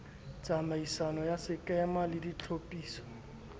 tsamaiso ya sekema le ditlhophiso